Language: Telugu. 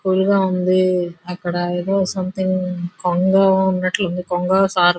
కూల్ గ ఉంది అక్కడా ఏదో సొమెథింగ్ కొంగ ఉన్నటుంది.కొంగ స--